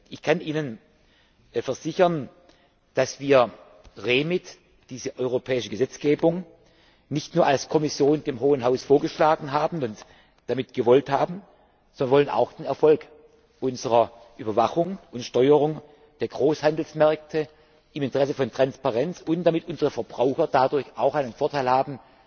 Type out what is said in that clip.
Ich kann Ihnen versichern, dass wir REMIT, diese europäische Gesetzgebung, nicht nur als Kommission dem Hohen Haus vorgeschlagen haben und damit gewollt haben, sondern wir wollen auch den Erfolg unserer Überwachung und Steuerung der Großhandelsmärkte im Interesse von Transparenz und damit unsere Verbraucher dadurch auch einen Vorteil haben,